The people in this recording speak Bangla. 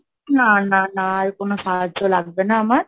না, না, না, আর কোনো সাহায্য লাগবে না আমার।